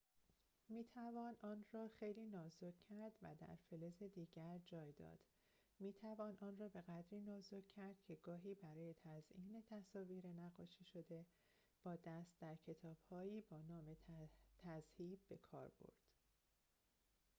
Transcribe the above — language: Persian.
می‌توان آن را خیلی نازک کرد و در فلز دیگر جای داد می‌توان آن را بقدری نازک کرد که گاهی برای تزئین تصاویر نقاشی‌شده با دست در کتاب‌هایی با نام تذهیب بکار رود